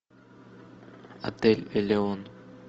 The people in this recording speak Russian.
отель элеон